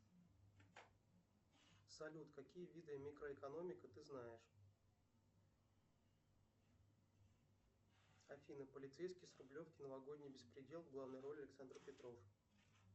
салют какие виды микроэкономика ты знаешь афина полицейский с рублевки новогодний беспредел в главной роли александр петров